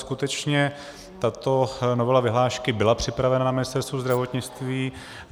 Skutečně tato novela vyhlášky byla připravena na Ministerstvu zdravotnictví.